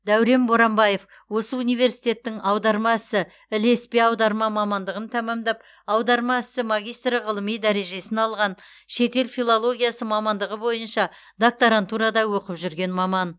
дәурен боранбаев осы университеттің аударма ісі ілеспе аударма мамандығын тәмамдап аударма ісі магистрі ғылыми дәрежесін алған шетел филологиясы мамандығы бойынша докторантурада оқып жүрген маман